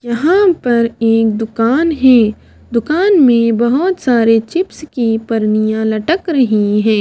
यहां पर एक दुकान है दुकान में बहुत सारे चिप्स की परनियां लटक रही हैं।